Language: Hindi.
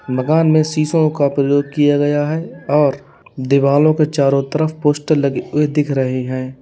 मकान में शीशों का प्रयोग किया गया है और दीवालों के चारों तरफ पोस्टर लगे हुए दिख रहे हैं।